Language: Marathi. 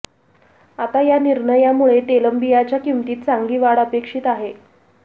आता या निर्णयामुळे तेलबियांच्या किमतीत चांगली वाढ अपेक्षित आहे